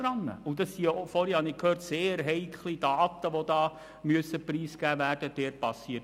Doch auch hier müssen ja diese «sehr heiklen Daten» preisgegeben werden, wie ich vorher gehört habe.